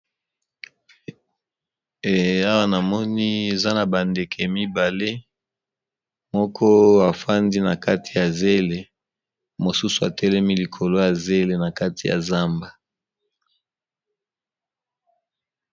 Awa namoni eza na bandeke mibale moko efandi na kati ya zele mosusu ,atelemi likolo ya zele na kati ya zamba.